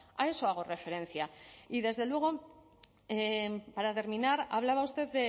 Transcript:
a eso hago referencia y desde luego para terminar hablaba usted